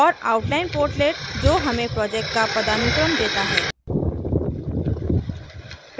और outline portlet जो हमें project का पदानुक्रम देता है